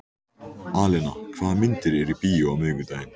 Alena, hvaða myndir eru í bíó á miðvikudaginn?